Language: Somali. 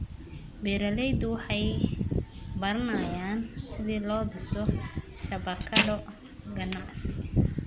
Beeraleydu waxay baranayaan sida loo dhiso shabakado ganacsi.